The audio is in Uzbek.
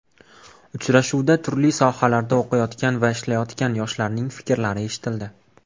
Uchrashuvda turli sohalarda o‘qiyotgan va ishlayotgan yoshlarning fikrlari eshitildi.